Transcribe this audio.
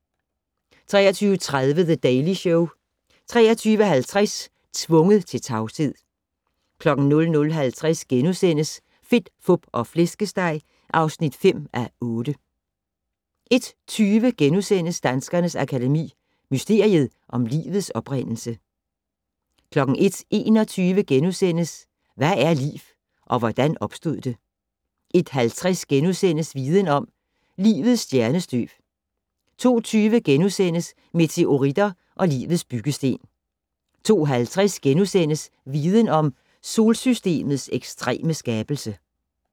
23:30: The Daily Show 23:50: Tvunget til tavshed 00:50: Fedt, Fup og Flæskesteg (5:8)* 01:20: Danskernes Akademi: Mysteriet om livets oprindelse * 01:21: Hvad er liv - og hvordan opstod det? * 01:50: Viden om - Livets stjernestøv * 02:20: Meteoritter og livets byggesten * 02:50: Viden om - Solsystemets ekstreme skabelse *